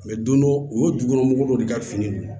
Mɛ don dɔ u ye dukɔnɔmɔgɔw de ka fini don